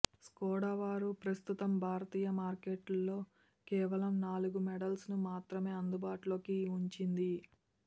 Skoda వారు ప్రస్తుతం భారతీయ మార్కెట్లో కేవలం నాలుగు మోడల్స్ను మాత్రమే అందుబాటులో ఉంచింది